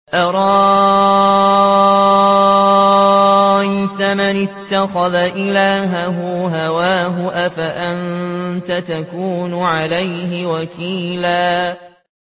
أَرَأَيْتَ مَنِ اتَّخَذَ إِلَٰهَهُ هَوَاهُ أَفَأَنتَ تَكُونُ عَلَيْهِ وَكِيلًا